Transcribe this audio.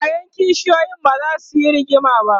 ƴaƴan kishiyoyin bazasu Yi rigima ba